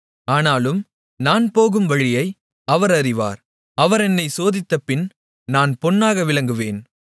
ஆனாலும் நான் போகும் வழியை அவர் அறிவார் அவர் என்னைச் சோதித்தபின் நான் பொன்னாக விளங்குவேன்